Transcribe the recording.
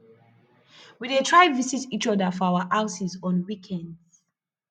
we dey try visit each other for our houses on weekends